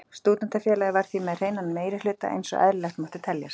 Stúdentafélagið var því með hreinan meirihluta einsog eðlilegt mátti teljast.